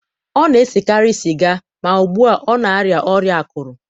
ọ na-esekarị sịga ma ugbu a, ọ na-arịa ọrịa akụrụ.